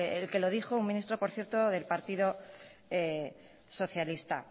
el que lo dijo un ministro por cierto del partido socialista